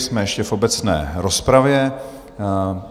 Jsme ještě v obecné rozpravě.